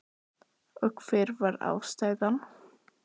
Gísli Óskarsson: Og hver var ástæðan?